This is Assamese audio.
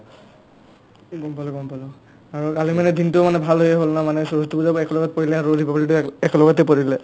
গম পালো গম পালো আৰু কালি মানে দিনটো মানে ভালেই হ'ল না মানে সৰস্ৱতী পূজাৰ লগত একলগে পৰিলে আৰু republic day ও এক্ একেলগতে পৰিলে